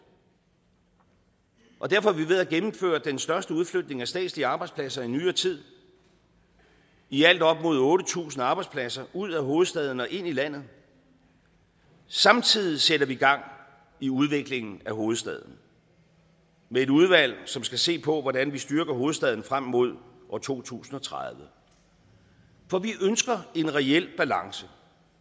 og derfor er vi ved at gennemføre den største udflytning af statslige arbejdspladser i nyere tid i alt op mod otte tusind arbejdspladser ud af hovedstaden og ind i landet samtidig sætter vi gang i udviklingen af hovedstaden med et udvalg som skal se på hvordan vi styrker hovedstaden frem mod år to tusind og tredive for vi ønsker en reel balance